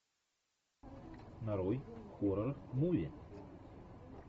нарой хоррор муви